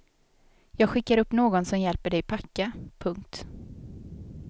Jag skickar upp någon som hjälper dig packa. punkt